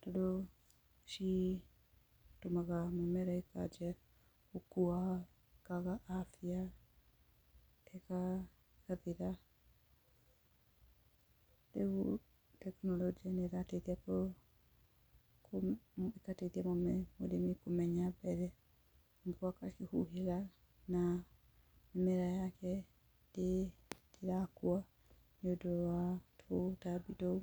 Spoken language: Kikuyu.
tondũ citũmaga mĩmera ĩkanjĩa gũkua, ĩkaga afya, ĩgathira, rĩu tekinoronjĩ nĩ ĩrateithia mũrĩmi kũmenya mbere nĩguo akohĩga na mĩmera yake ndĩrakua nĩ ũndũ wa tũtambi tũu.